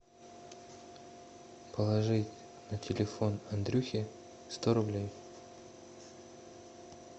положить на телефон андрюхе сто рублей